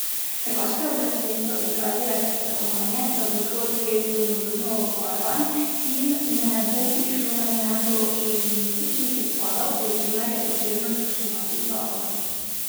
Hrvaške oblasti so izrazile pričakovanje, da bo shod res domoljubno obarvan in ne bo prišlo na njem do šovinističnih izpadov, pri čemer je potrebno spoštovati zakon.